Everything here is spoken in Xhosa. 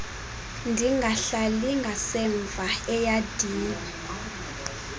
ndingahlali ngasemva eyadini